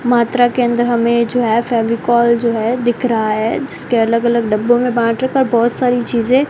मात्रा के अंदर हमें जो है फेविकोल जो है दिख रहा है जिसके अलग अलग डब्बों में बांट रखा बहुत सारी चीजें --